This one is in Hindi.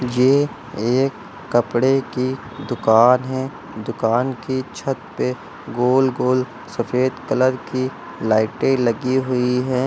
ये एक कपड़े की दुकान है दुकान की छत पे गोल गोल सफेद कलर की लाइटें लगी हुई हैं।